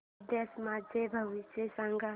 उद्याचं माझं भविष्य सांग